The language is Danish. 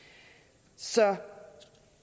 så det jeg